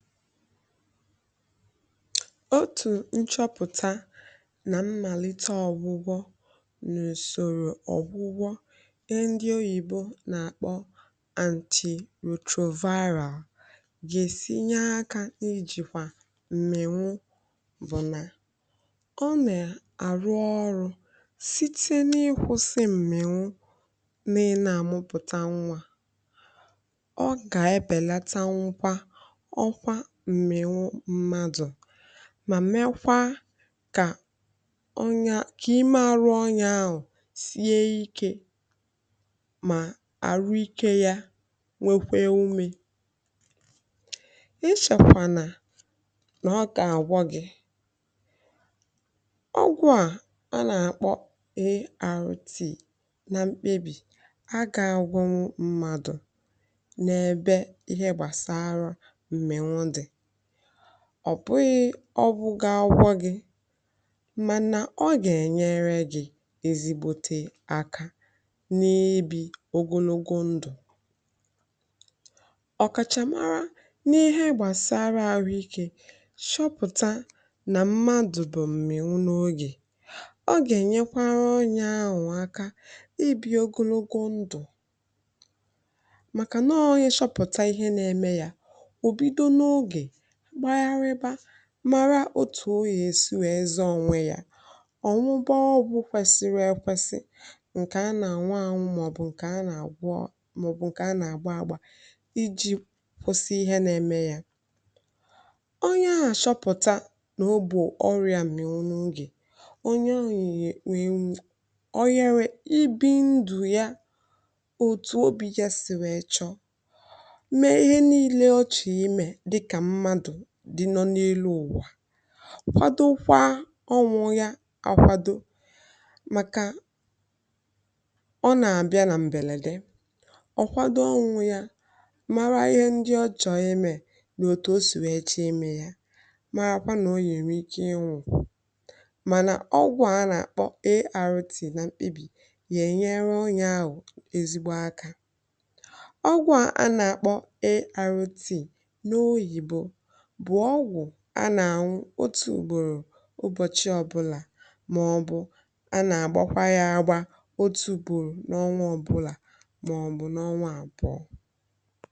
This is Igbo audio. Otu nchọpụta na mmalite ọgwụgwọ n’usoro ọgwụgwọ e ndị oyibo na-akpọ anti-retroviral ga-esi nye aka n’ijikwa mmepụta nje. Nke a bụ n’ihi na ọgwụ a na-arụ ọrụ site n’ịkwụsị mmepụta nje mee na a anaghị emepụta nje ọhụrụ, ma mee ka o nyaghị ime, ma rụọ ya ahụ sie ike. Ma ọrụ nke ya nwekwara ume ịchọkwà na nọọ ka a gwọọ gị. Ọgwụ a a na-akpọ ART (Anti-Retroviral Therapy) na mkpebi a ga-agwọ mmadụ na ebe ihe gbasara ọ bụghị ụgwọ gị, mana ọ ga-enyere gị ezigbote aka n’ibi ogologo ndụ. Ọkàchà mara n’ihe gbasara ahụike chọpụtara na: Mmadụ bụ mmịwụ n’oge. Ọ ga-enyekwara onye ahụ nkwà ibi ogologo ndụ, Maka na o chọpụtara ihe na-eme ya, Ma mara otu o si wee zọọ onwe ya, Ọ naghị anwụba, Ọgwụ kwesịrị ekwesị. Nke a bụ ọgwụ a na-enwekarị: Ụdị a na-aṅwụ, Maọbụ nke a na-agba, Nke a na-agba agba iji kwụsị ihe na-eme ya. Onye ahụ chọpụtara na ọ bụ ọrịa mmịà (HIV) onye ọrịa ga-achọ ibi ndụ ya otu obi, gaa n’ihu ịchọ ịnọ n’elu ụwa, kwado ụlọ ya, kwado ụmụ ya, kwado maka ọdịnihu ya. Ọgwụ a na-abịa n’ime mkpebi ọkpụkpụ ndụ, ọ bụghị naanị ọnwụ. Ọ na-enyere mmadụ aka ime atụmatụ, mara ihe dị mkpa, chọọ ime ihe ọma, ma mara na onye nwere ike ịnwụ, mana ọgwụ a na-akpọ ARV (arutì) na mkpebi a ga-enyere onye ahụ ahụ ezigbo aka. Ọgwụ a a na-akpọ arutì n’oyibo bụ ọgwụ a na-aṅwụ otu ụbọchị ọ bụla, maọbụ a na-agbakwara ya agba otu ugboro n’ọnwụ ọ bụla, maọbụ n’ọnwụ abụọ.